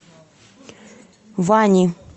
вани